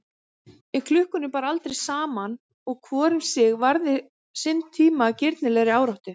En klukkunum bar aldrei saman og hvor um sig varði sinn tíma af grimmilegri áráttu.